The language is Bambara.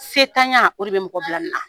Sentanya o de bɛ mɔgɔ bila nin na